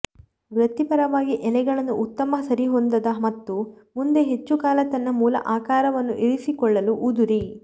ವೃತ್ತಿಪರವಾಗಿ ಎಳೆಗಳನ್ನು ಉತ್ತಮ ಸರಿಹೊಂದದ ಮತ್ತು ಮುಂದೆ ಹೆಚ್ಚು ಕಾಲ ತನ್ನ ಮೂಲ ಆಕಾರವನ್ನು ಇರಿಸಿಕೊಳ್ಳಲು ಉದುರಿ